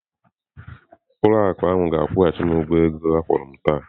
Ụlọ akụ ahụ ga-akwụghachi m ego akwụrụ m taa.